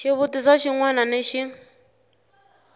xivutiso xin wana ni xin